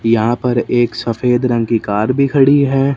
यहां पर एक सफेद रंग की कार भी खड़ी हैं।